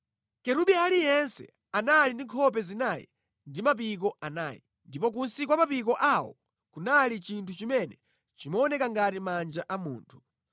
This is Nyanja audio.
Kerubi aliyense anali ndi nkhope zinayi ndi mapiko anayi, ndipo kunsi kwa mapiko awo kunali chinthu chimene chimaoneka ngati manja a munthu.